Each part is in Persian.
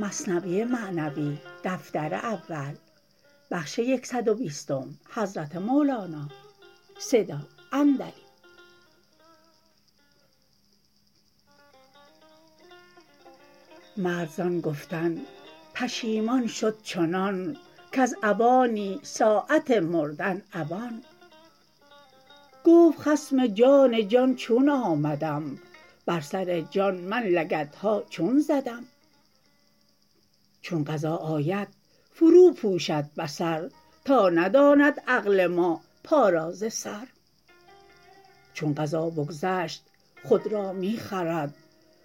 مرد زان گفتن پیشمان شد چنان کز عوانی ساعت مردن عوان گفت خصم جان جان چون آمدم بر سر جان من لگدها چون زدم چون قضا آید فرو پوشد بصر تا نداند عقل ما پا را ز سر چون قضا بگذشت خود را می خورد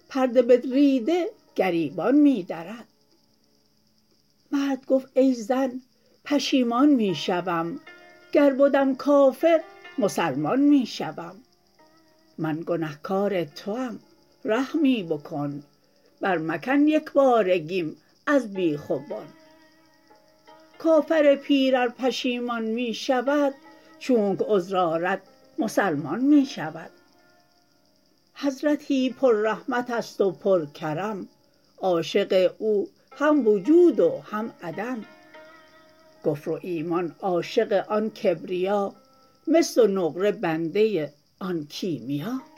پرده بدریده گریبان می درد مرد گفت ای زن پیشمان می شوم گر بدم کافر مسلمان می شوم من گنه کار توم رحمی بکن بر مکن یکبارگیم از بیخ و بن کافر پیر ار پشیمان می شود چونک عذر آرد مسلمان می شود حضرت پر رحمتست و پر کرم عاشق او هم وجود و هم عدم کفر و ایمان عاشق آن کبریا مس و نقره بنده آن کیمیا